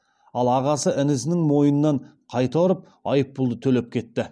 ал ағасы інісінің мойнынан қайта ұрып айыппұлды төлеп кетті